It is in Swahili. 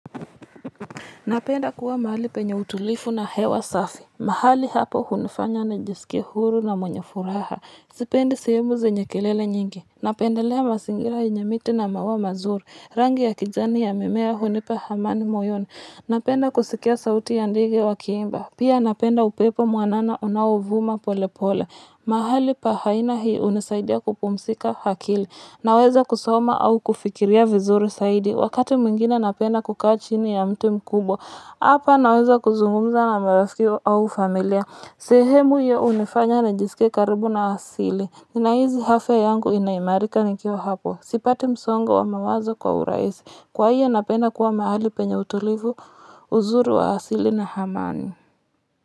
Napenda kuwa mahali penye utulivu na hewa safi. Mahali hapo hunifanya nijisikie huru na mwenye furaha. Sipendi sehemu zenye kelele nyingi. Napendelea mazingira yenye miti na mauwa mazuri. Rangi ya kijani ya mimea hunipa hamani moyoni. Napenda kusikia sauti ya ndege wa kiimba. Pia napenda upepo mwanana unaovuma pole pole. Mahali pa haina hii hunisaidiya kupumzika hakili. Naweza kusoma au kufikiria vizuri zaidi. Wakati mwingine napenda kukaa chini ya mti mkubwa. Hapa naweza kuzungumza na marafiki au familiya. Sehemu hiyo hunifanya nijisikie karibu na asili. Ninahizi hafya yangu inaimarika nikiwa hapo. Sipati msongo wa mawazo kwa urahisi. Kwa hiyo napenda kuwa mahali penye utulivu uzuri wa asili na hamani.